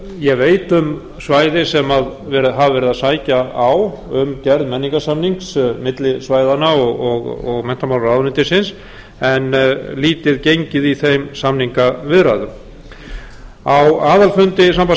ég veit um svæði sem hafa verið að sækja á um gerð menningarsamnings milli svæðanna og menntamálaráðuneytisins en lítið gengið í þeim samningaviðræðum á aðalfundi sambands sveitarfélaga